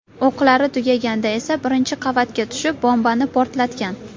O‘qlari tugaganda esa birinchi qavatga tushib, bombani portlatgan.